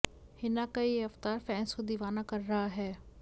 हिना का ये अवतार फैंस को दीवाना कर रहा है